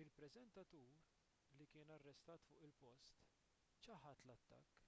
il-preżentatur li kien arrestat fuq il-post ċaħad l-attakk